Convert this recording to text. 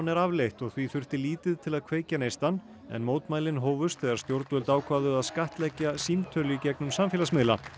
er afleitt og því þurfti lítið til að kveikja neistann mótmælin hófust þegar stjórnvöld ákváðu að skattleggja símtöl í gegnum samfélagsmiðla